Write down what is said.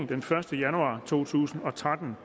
den første januar to tusind og tretten